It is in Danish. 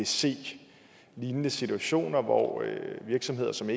se lignende situationer hvor virksomheder som